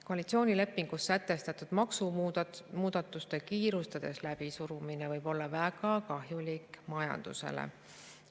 Koalitsioonilepingus sätestatud maksumuudatuste kiirustades läbisurumine võib olla väga kahjulik majandusele.